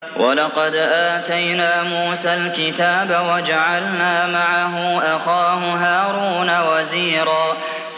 وَلَقَدْ آتَيْنَا مُوسَى الْكِتَابَ وَجَعَلْنَا مَعَهُ أَخَاهُ هَارُونَ وَزِيرًا